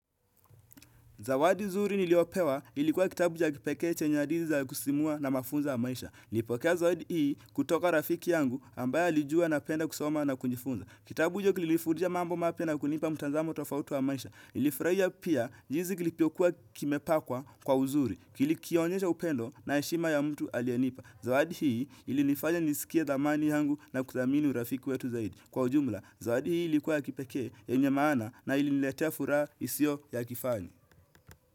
Zawadi nzuri niliopewa ilikuwa kitabu cha kipeke chenye hadithi za kusisimua na mafunzo ya maisha. Nilipokea zawadi hii kutoka kwa rafiki yangu ambaye alijua napenda kusoma na kujifunza. Kitabu hicho kilinifundisha mambo mapya na kunipa mtazamo tofauti wa maisha. Nilifurahia pia jinsi kilivyokua kimepakwa kwa uzuri. Nilikionyesha upendo na heshima ya mtu aliyenipa. Zawadi hii ilinifanya nisikie dhamani yangu na kudhamini urafiki wetu zaidi. Kwa ujumla, zawadi hii ilikuwa ya kipekee, yenye maana na iliniletea furaha isiyo ya kifani.